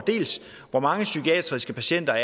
hvor mange psykiatriske patienter